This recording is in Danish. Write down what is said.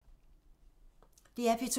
DR P2